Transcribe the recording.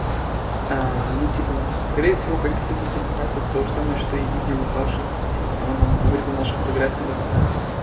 аа ну типа скорее всего коллективная презентация то же самое что и видео у паши типа там он вырезал нашу фотографию туда вставил